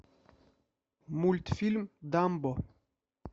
мультфильм дамбо